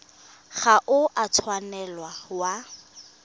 ga o a tshwanela wa